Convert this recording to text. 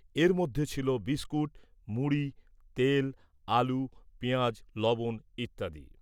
এর মধ্যে ছিল বিস্কুট , মুড়ি , তেল , আলু , পেঁয়াজ , লবণ ইত্যাদি ।